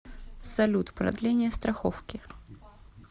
салют продление страховки